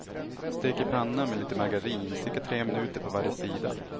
Stek i panna med lite margarin, cirka tre minuter på varje sida.